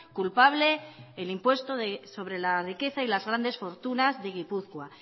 culpable el impuesto sobre la riqueza y las grandes fortunas de gipuzkoa